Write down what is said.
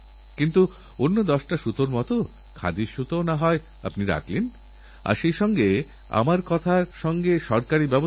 আপনি প্রযুক্তিকে একজায়গায় ধরে রাখতে পারবেন না যদি এক জায়গায় আটকে রাখতে চান ততক্ষণে অন্য কোথাওনতুন প্রযুক্তি তৈরি হয়েছে